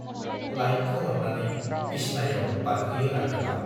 Light खोमोरनानै बिसनायाव बारखोयो राखेबा।